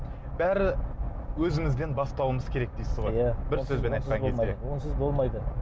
бәрі өзімізден бастауымыз керек дейсіз ғой иә бір сөзбен айтқан кезде онсыз болмайды